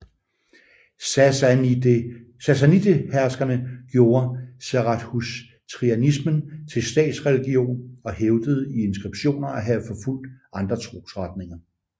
Sassanideherskerne gjorde zarathustrianismen til statsreligion og hævdede i inskriptioner at have forfulgt andre trosretninger